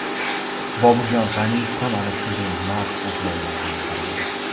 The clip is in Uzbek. Boburjon G‘aniyev ham ana shunday mard o‘g‘lonlardan biri edi.